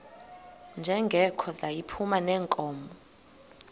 njengoko yayiphuma neenkomo